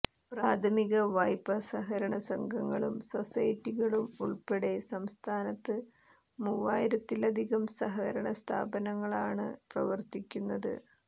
പ്രാഥമിക വായ്പാ സഹകരണ സംഘങ്ങളും സൊസൈറ്റികളും ഉള്പ്പെടെ സംസ്ഥാനത്ത് മൂവായിരത്തിലധികം സഹകരണസ്ഥാപനങ്ങളാണ് പ്രവര്ത്തിക്കുന്നത്